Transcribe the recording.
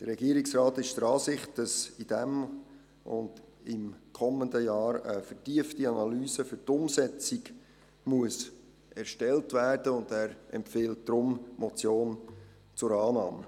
Der Regierungsrat ist der Ansicht, dass in diesem und im kommenden Jahr eine vertiefte Analyse für die Umsetzung erstellt werden muss, und er empfiehlt deshalb die Motion zur Annahme.